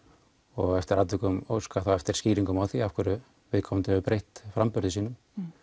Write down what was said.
og eftir atvikum óskað þá eftir skýringum á því af hverju viðkomandi hefur breytt framburði sínum